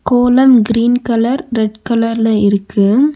கோலம் green colour red கலர்ல இருக்கு.